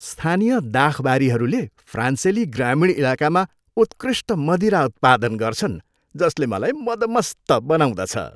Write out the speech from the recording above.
स्थानीय दाखबारीहरूले फ्रान्सेली ग्रामीण इलाकामा उत्कृष्ट मदिरा उत्पादन गर्छन् जसले मलाई मदमस्त बनाउँदछ।